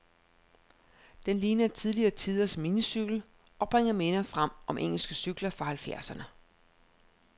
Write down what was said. Den ligner tidligere tiders minicykel, og bringer minder frem om engelske cykler fra halvfjerdserne.